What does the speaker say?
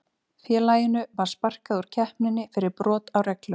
Félaginu var sparkað úr keppninni fyrir brot á reglum.